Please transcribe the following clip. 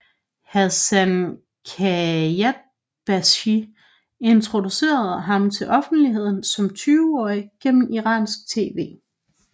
Hassan Khayatbashi introducerede ham til offentligheden som 20 årige gennem iransk tv